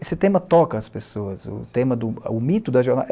Esse tema toca as pessoas, o tema o mito da